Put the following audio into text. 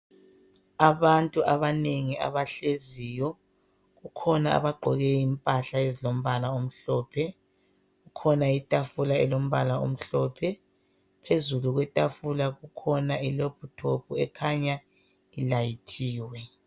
Abantu abanengi abahleziyo. Bakhona abagqoke impahla ezilombala omhlophe kukhona itafula elombala omhlophe. Phezulu kwetafula kukhona ilaphutophu ekhanya ilayithiwe.